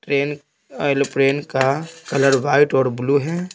Train crane का colour white और blue है।